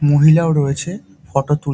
মহিলা ও রয়েছে। ফটো তুল--